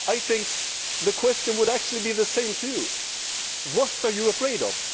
I think the question would actually be the same to you. What are you afraid of?